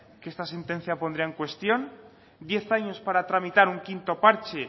que esta sentencia pondría en cuestión diez años para tramitar un quinto parche